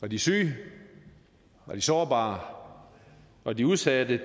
de syge de sårbare og de udsatte